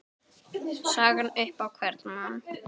sagan upp á hvern mann